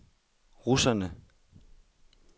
russerne